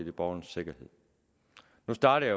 er borgernes sikkerhed nu startede